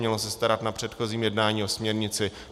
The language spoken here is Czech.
Mělo se starat na předchozím jednání o směrnici.